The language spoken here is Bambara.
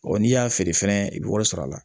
n'i y'a feere fɛnɛ i bɛ wari sɔrɔ a la